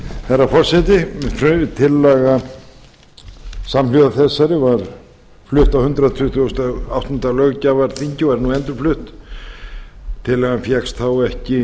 herra forseti tillaga samhljóða þessari var flutt á hundrað tuttugasta og áttunda löggjafarþingi og er nú endurflutt tillagan fékkst þá ekki